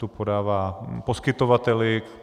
Tu podává poskytovateli.